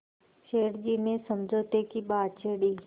सेठ जी ने समझौते की बात छेड़ी